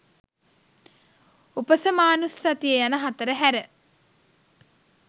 උපසමානුස්සතිය යන හතර හැර